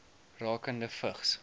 rakende vigs